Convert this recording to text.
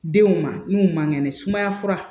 Denw ma n'u man kɛnɛ sumaya fura